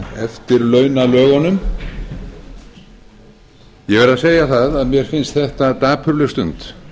eftirlaunalögunum ég verð að segja það að mér finnst þetta dapurleg stund